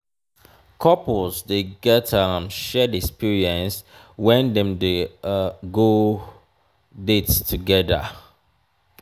couples dey get um shared experience when dem go on um dates together